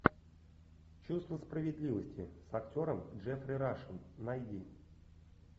чувство справедливости с актером джеффри рашем найди